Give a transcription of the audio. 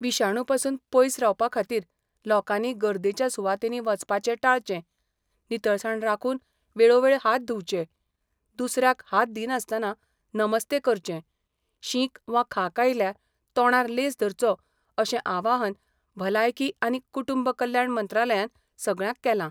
विशाणू पासून पयस रावपा खातीर लोकांनी गर्देच्या सुवातांनी वचपाचें टाळचें, नितळसाण राखून वेळो वेळ हात धुवचे, दुसऱ्याक हात दिनासतनां नमस्ते करचें, शींक वा खांक आयल्यार तोंडार लेंस धरचो अशें आवाहन भलायकी आनी कुटुंब कल्याण मंत्रालयान सगळ्यांक केलां.